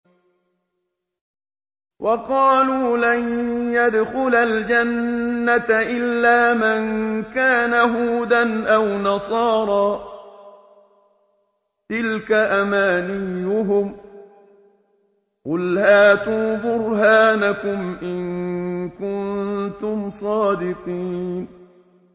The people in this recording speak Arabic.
وَقَالُوا لَن يَدْخُلَ الْجَنَّةَ إِلَّا مَن كَانَ هُودًا أَوْ نَصَارَىٰ ۗ تِلْكَ أَمَانِيُّهُمْ ۗ قُلْ هَاتُوا بُرْهَانَكُمْ إِن كُنتُمْ صَادِقِينَ